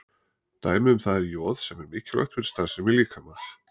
Dæmi um það er joð sem er mikilvægt fyrir starfsemi líkamans.